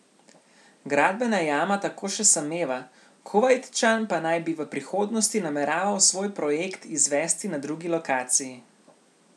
Gradbena jama tako še sameva, Kuvajtčan pa naj bi v prihodnosti nameraval svoj projekt izvesti na drugi lokaciji.